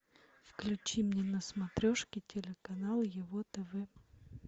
включи мне на смотрешке телеканал его тв